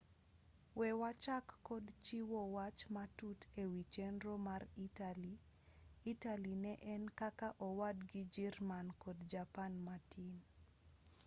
we wachak kod chiwo wach matut ewi chenro mar itali itali ne en kaka owadgi jirman kod japan matin